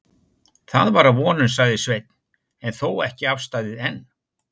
Það var að vonum, sagði Sveinn, en þó ekki afstaðið enn.